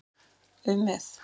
um með.